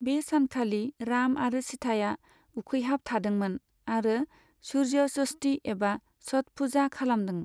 बे सानखालि राम आरो सिथाया उखैहाब थादोंमोन आरो सूर्य षष्ठी एबा छठ पूजा खालामदों।